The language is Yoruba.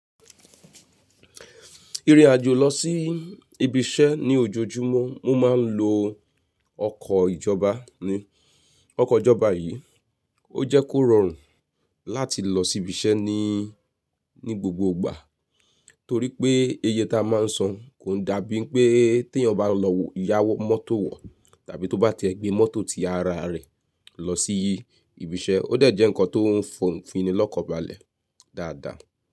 Ìrìn àjò lọ sí ibiṣẹ́ ní ojoojúmọ́ mo má ń lo ọkọ̀ ìjọba ni. Ọkọ̀ ìjọba yìí ò jẹ́ kó rọrùn láti lọ sí ibiṣẹ́ ni, ní gbogbo ìgbà torí pé iye tá má ń san kò ń dàbí pé tí ẹ̀yàn bá lọ ya mọ́tò wọ̀ tàbí tó bá tiẹ̀ gbé mọ́tò ti ara rẹ̀ lọsí ibiṣẹ́ ó dẹ̀ jẹ́ nkan tó ń fini lọ́kàn balẹ̀ dáadáa.